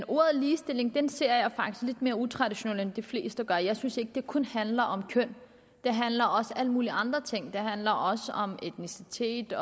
ordet ligestilling lidt mere utraditionelt end de fleste gør jeg synes ikke det kun handler om køn det handler også om alle mulige andre ting det handler også om etnicitet